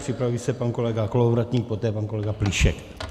Připraví se pan kolega Kolovratník, poté pan kolega Plíšek.